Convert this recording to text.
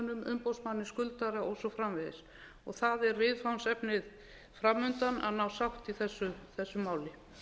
umboðsmanni skuldara og svo framvegis það er viðfangsefnið fram undan að ná sátt í þessu máli